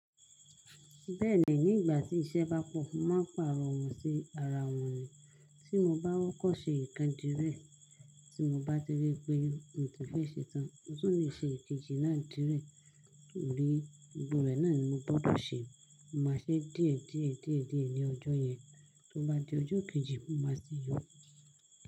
Bẹ́ẹ̀ni nígbà tí iṣẹ́ bá pọ̀, mo máa pààrọ̀ wọ́n sí ara wọn ni. Tí mo bá kọ́kọ́ ṣe ìkan dírẹ, tí mo bá ti rí pé mo ti fẹ́ ṣe tán, mo tún lè ṣe èkejì náà dírẹ. Torí gbogbo rẹ̀ náà ni mo gbọdọ̀ ṣe, mo màá ṣe díẹ̀ díẹ̀ díẹ̀ díẹ̀ ní ọjọ́ yẹn. Tó bá di ọjọ́ kejì, mo máa sin yókù.